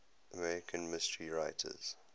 american mystery writers